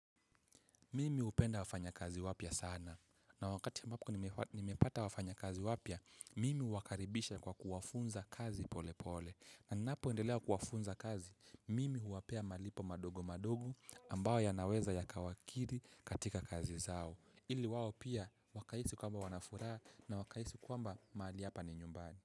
Mimi hupenda wafanyakazi wapya sana na wakati ambapo nimepata wafanyakazi wapya mimi huwakaribisha kwa kuwafunza kazi pole pole na ninapoendelewa kuwafunza kazi mimi huwapea malipo madogo madogo ambayo yanaweza yakawakiri katika kazi zao ili wao pia wakahisi kwamba wana furaha na wakahisi kwamba mahali hapa ni nyumbani.